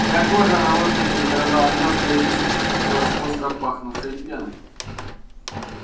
вся кожа на лошади задрожала мелко и быстро и покрылась остро пахнувшей пеной